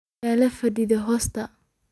Yuulafadaa hosta.